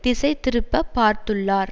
திசை திருப்பப் பார்த்துள்ளார்